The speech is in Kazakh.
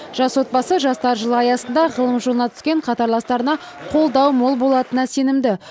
жас отбасы жастар жылы аясында ғылым жолына түкен қатарластарына қолдау мол болатынына сенімді